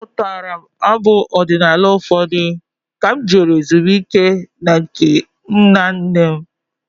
Amụtara m abụ ọdinala ụfọdụ ka m jere ezumike na nke nna nne m.